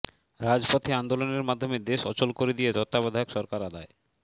রাজপথে আন্দোলনের মাধ্যমে দেশ অচল করে দিয়ে তত্ত্বাবধায়ক সরকার আদায়